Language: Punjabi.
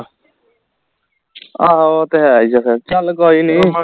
ਆਹੋ ਉਹ ਤੇ ਹੈ ਹੀ ਹੈ ਫੇਰ ਚੱਲ ਕੋਈ ਨੀ